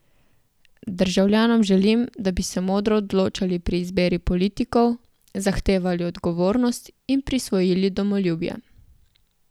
Državljanom želim, da bi se modro odločali pri izbiri politikov, zahtevali odgovornost in prisvojili domoljubje.